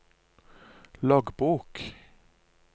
loggbok